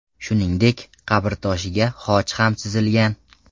Shuningdek, qabrtoshiga xoch ham chizilgan.